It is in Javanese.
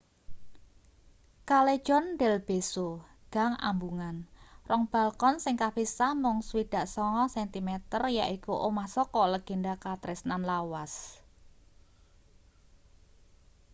callejon del beso gang ambungan. rong balkon sing kapisah mung 69 sentimeter yaiku omah saka legenda katresnan lawas